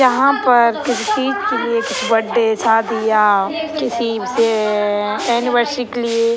यहां पर किसी के लिए बर्थडे शादियां किसी से एनिवर्सरी के लिए --